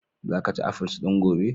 Za ka ci afuls din gobe!